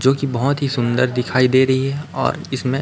जो कि बहोत ही सुंदर दिखाई दे रही है और इसमें--